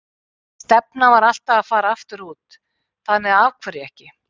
Stefnan var alltaf að fara aftur út, þannig að af hverju ekki?